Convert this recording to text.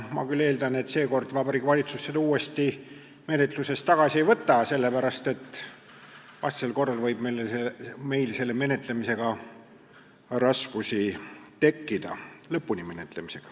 Ma küll eeldan, et seekord Vabariigi Valitsus seda menetlusest tagasi ei võta, sest vastasel korral võib meil selle lõpuni menetlemisega raskusi tekkida.